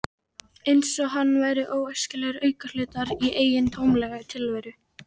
Eins og hann væri óæskilegur aukahlutur í eigin tómlegu tilveru.